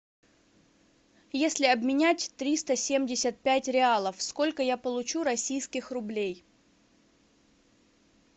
если обменять триста семьдесят пять реалов сколько я получу российских рублей